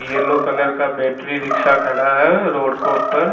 Yellow colour का battery rickshaw खड़ा है रोड के ऊपर।